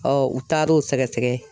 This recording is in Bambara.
u taar'o sɛgɛsɛgɛ.